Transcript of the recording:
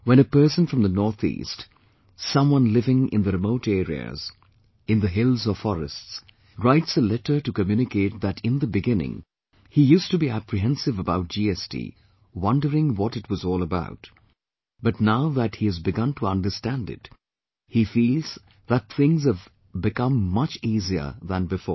When a person from the NorthEast, someone living in the remote areas, in the hills or forests, writes a letter to communicate that in the beginning, he used to be apprehensive about GST wondering what it was all about, but now that he has begun to understand it, he feels that things have become much easier than before